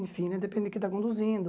Enfim, né depende de que está conduzindo.